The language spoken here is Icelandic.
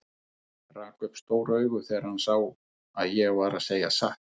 Rak upp stór augu þegar hann sá að ég var að segja satt.